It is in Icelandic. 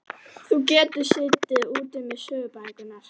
Þú getur setið úti með sögubækurnar.